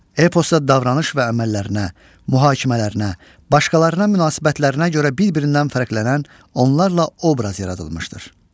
Eposda davranış və əməllərinə, mühakimələrinə, başqalarına münasibətlərinə görə bir-birindən fərqlənən onlarla obraz yaradılmışdır.